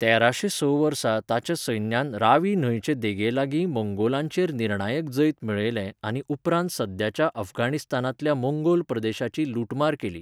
तेराशें स वर्सा ताच्या सैन्यान रावी न्हंयचे देगेलागीं मंगोलांचेर निर्णायक जैत मेळयलें आनी उपरांत सद्याच्या अफगाणिस्तानांतल्या मंगोल प्रदेशांची लुटमार केली.